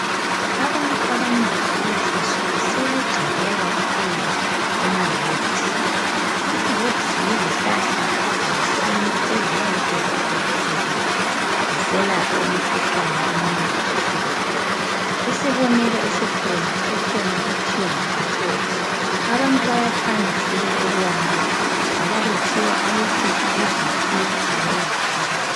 Abantu abanengi kulezi insuku sebegxile kakhulu kumaherds. Abaherbs yizihlahla zesintu. Eziyabe seziphekaphekiwe ziselapha imikhuhlane eminengi ehlukeneyo. Isibonelo esikhona, kukhona kuthiwa ngamacloves. Abantu bayathanda sibili ukuwanatha ngoba kuthiwa ayehlisa iBp kanye letshukela.